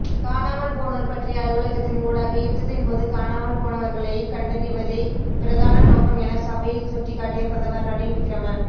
காணாமல்போனோர் பற்றிய அலுவலகத்தின் ஊடாக யுத்தத்தின்போது காணாமல்போனவர்களைக் கண்டறிவதே பிரதான நோக்கம் என சபையில் சுட்டிக்காட்டிய பிரதமர் ரணில் விக்கிரம